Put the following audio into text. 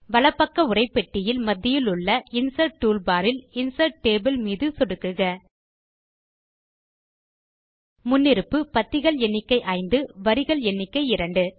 வலப்பக்க உரைப்பெட்டியில் மத்தியிலுள்ள insert toolbar இல் இன்சர்ட் டேபிள் மீது சொடுக்குக முன்னிருப்பு பத்திகள் எண்ணிக்கை 5 வரிகள் எண்ணிக்கை 2